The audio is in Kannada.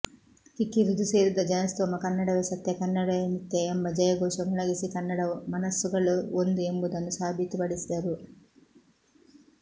ಕಿಕ್ಕಿರಿದು ಸೇರಿದ್ದ ಜನಸ್ತೋಮ ಕನ್ನಡವೇ ಸತ್ಯ ಕನ್ನಡವೇ ನಿತ್ಯ ಎಂಬ ಜಯಘೋಷ ಮೊಳಗಿಸಿ ಕನ್ನಡ ಮನಸ್ಸುಗಳು ಒಂದು ಎಂಬುದನ್ನು ಸಾಬೀತುಪಡಿಸಿದರು